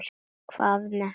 Hvað með hana?